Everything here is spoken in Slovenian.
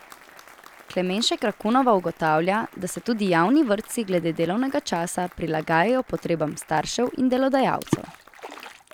Klemenšek Rakunova ugotavlja, da se tudi javni vrtci glede delovnega časa prilagajajo potrebam staršev in delodajalcev.